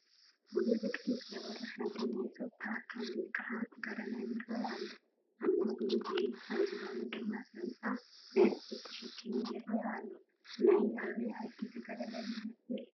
ሙሉእ ዕጥቂ ዝገበረ ሓደ ናይ ፀጥታ ኣካል ወይ ከዓ ተጋደላይ ይረአ ኣሎ፡፡ ኣብ ማእገሩ ብሬን፣ ኣብ ዝባኑ ድማ ሳንጣ ናይ ኣቑሑት ተሸኪሙ ይረአ ኣሎ፡፡ ናይ ኣበይ ዓዲ ተጋዳላይ ይመስል?